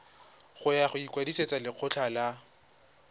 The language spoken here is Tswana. ya go ikwadisetsa lekgetho la